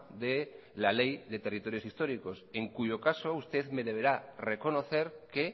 de la ley de territorios históricos en cuyo caso usted me deberá reconocer que